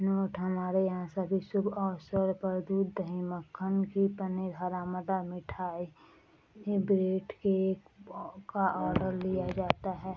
Note हमारे यहां सभी शुभ अवसर पर दूध दही मक्खन घी पनीर हरा मटर मिठाई एवं बर्थ डे केक का आर्डर लिया जाता है।